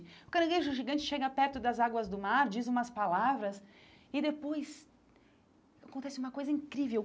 O caranguejo gigante chega perto das águas do mar, diz umas palavras e depois... Acontece uma coisa incrível.